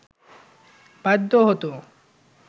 বাধ্য হতো